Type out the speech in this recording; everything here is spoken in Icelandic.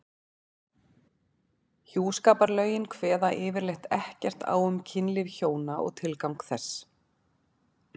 Hjúskaparlögin kveða yfirleitt ekkert á um kynlíf hjóna og tilgang þess.